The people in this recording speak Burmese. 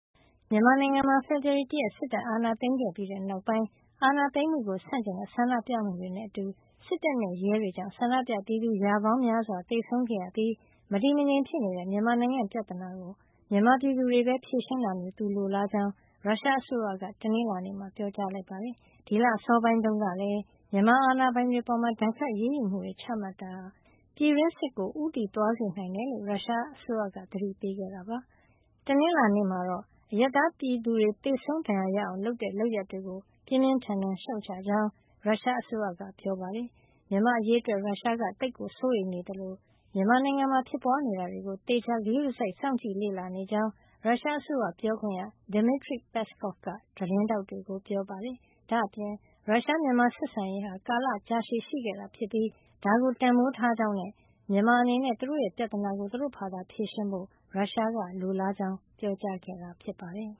မြန်မာနိုင်ငံမှာ ဖေဖေါ်ဝါရီ ၁ ရက် စစ်တပ်အာဏာသိမ်းခဲ့ပြီးတဲ့နောက်ပိုင်း အာဏာသိမ်းမှုကို ဆန့်ကျင်တဲ့ဆန္ဒပြမှုတွေနဲ့ အတူ စစ်တပ်နဲ့ ရဲတွေကြောင့် ဆန္ဒပြပြည်သူ ရာပေါင်းများစွာ သေဆုံးခဲ့ရပြီး မတည်မငြိမ်ဖြစ်နေတဲ့ မြန်မာနိုင်ငံရဲ့ ပြဿနာကို မြန်မာပြည်သူတွေပဲ ဖြေရှင်းတာမျိုးကို သူလိုလားကြောင်း ရုရှားအစိုးရက တနင်္လာနေ့မှာ ပြောကြားလိုက်ပါတယ်။ ဒီလ အစောပိုင်းတုန်းကလည်း မြန်မာအာဏာပိုင်တွေ အပေါ် ဒဏ်ခတ်အရေးယူမှုတွေ ချမှတ်တာဟာ ပြည်တွင်းစစ်ကို ဦးတည်သွားစေနိုင်တယ်လို့ ရုရှားအစိုးရက သတိပေးခဲ့တာပါ။ တနင်္လာနေ့မှာတော့ အရပ်သားပြည်သူတွေ သေဆုံးဒဏ်ရာရအောင် လုပ်တဲ့ လုပ်ရပ်တွေကို ပြင်းပြင်းထန်ထန် ရှုတ်ချကြောင်း ရုရှားအစိုးရက ပြောကြားခဲ့ပါတယ်။ မြန်မာ့အရေးတွက် ရုရှားက သိပ်ကိုစိုးရိမ်နေသလို မြန်မာနိုင်ငံမှာ ဖြစ်ပွါးနေတာတွေကို သေချာဂရုစိုက် စောင့်ကြည့်လေ့လာနေကြောင်း ရုရှားအစိုးရပြောခွင့်ရ Dmitry Peskov က သတင်းထောက်တွေကို ပြောပါတယ်။ ဒါ့အပြင် ရုရှား- မြန်မာဆက်ဆံရေးဟာ ကာလရှည်ကြာရှိခဲ့တာ ဖြစ်ပြီး ဒါကိုတန်ဖိုးထားကြောင်းနဲ့ မြန်မာအနေနဲ့ သူတို့ရဲ့ ပြဿနာကို သူတို့ဘာသာ ဖြေရှင်းဖို့ ရုရှားက လိုလားကြောင်း ပြောကြားခဲ့တာ ဖြစ်ပါတယ်